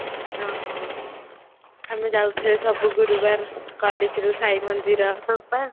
ଆମେ ଯାଉଥିଲେ ସବୁ ଗୁରୁବାର college ର ଯୋଉ ସାଇ ମନ୍ଦିର